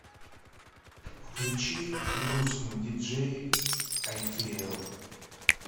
включи грустный диджей айтиэл